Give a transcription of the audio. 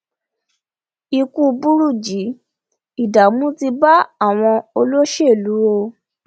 ikú burújí ìdààmú ti bá àwọn olóṣèlú o